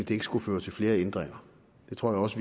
det ikke skulle føre til flere ændringer det tror jeg også